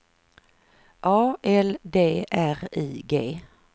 A L D R I G